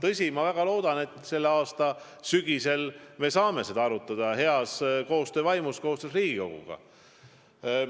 Aga ma väga loodan, et sügisel me saame seda arutada heas koostöös Riigikoguga.